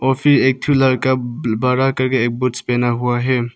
और फिर एक ठो लड़का बड़ा करके एक बूट्स पहना हुआ है।